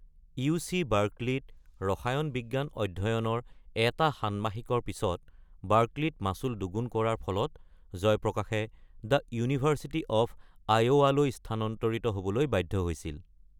Yuezhi বাৰ্কলেত ৰসায়ন বিজ্ঞান অধ্যয়নৰ এটা ষান্মাষিকৰ পিছত বাৰ্কলেত মাচুল দুগুণ কৰাৰ ফলত জয়প্ৰকাশে দ্য ইউনিভাৰ্চিটি অৱ আইঅ’ৱালৈ স্থানান্তৰিত হ’বলৈ বাধ্য হৈছিল।